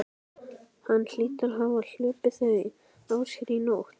Hann hlýtur að hafa hlaupið þau af sér í nótt.